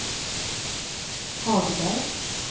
Hagberg